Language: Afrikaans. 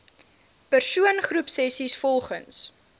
persoon groepsessies volgens